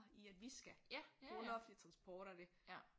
I at vi skal bruge noget offentlig transport og det